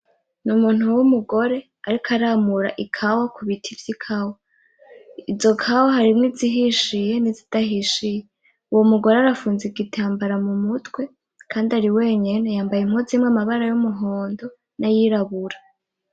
Ni umuntu w'umugore ariko aramura ikawa ku biti vy'ikawa, izo kawa harimwo izihishiye nizidahishiye uwo mugore arafunze igitambara mu mutwe kandi ari wenyene, yambaye impunzu irimwo amabara y'umuhondo nay'irabura.